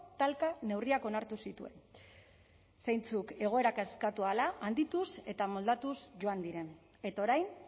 talka neurriak onartu zituen zeintzuk egoera kaskartu ahala handituz eta moldatuz joan diren eta orain